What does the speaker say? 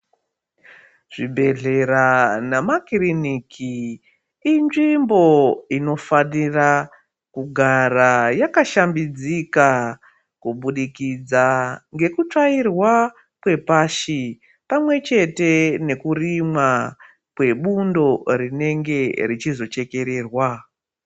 Zvibhedhlera nemakiriniki inzvimbo inofanira kugara yakashambidzika kubudikidza ngekutsvairwa kwepashi. Pamwe chete nekurimwa kwebundo rinenge rechizo chekererwa.